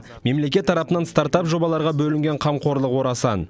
мемлекет тарапынан стартап жобаларға бөлінген қамқорлық орасан